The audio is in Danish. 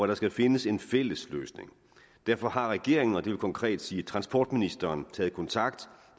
der skal findes en fælles løsning derfor har regeringen og det vil konkret sige transportministeren taget kontakt